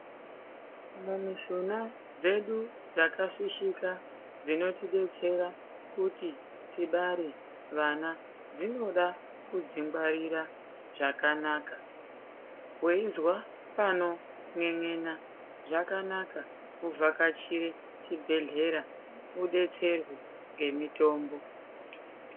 Mumishuna dzedu dzakafishika dzinoti detsera kuti tibare vana dzinoda kudzingwarira zvakanaka weizwa panon'en'ena zvakanaka kuvhakachire chibhedhlera udetserwe ngemitombo.